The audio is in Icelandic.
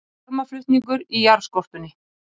Varmaflutningur í jarðskorpunni